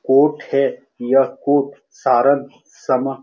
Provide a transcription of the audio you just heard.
coat है यह coat सरद समां --